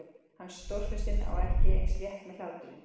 Hann, Stórfurstinn, á ekki eins létt með hláturinn.